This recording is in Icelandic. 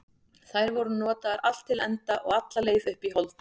Þær voru notaðar allt til enda og alla leið upp í hold.